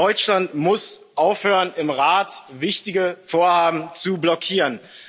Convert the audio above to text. Deutschland muss aufhören, im Rat wichtige Vorhaben zu blockieren.